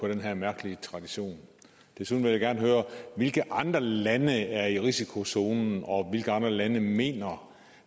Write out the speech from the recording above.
den her mærkelige tradition desuden vil jeg gerne høre hvilke andre lande er i risikozonen og hvilke andre lande mener